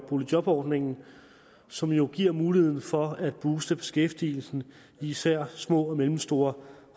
boligjobordningen som jo giver muligheden for at booste beskæftigelsen i især små og mellemstore